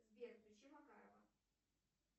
сбер включи макарова